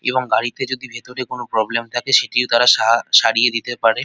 এবং গাড়িতে যদি ভেতরে কোন প্রব্লেম থাকে সেটিও তারা সা সারিয়ে দিতে পারে।